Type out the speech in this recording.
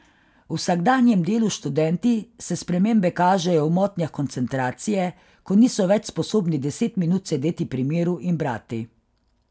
V vsakdanjem delu s študenti se spremembe kažejo v motnjah koncentracije, ko niso več sposobni deset minut sedeti pri miru in brati.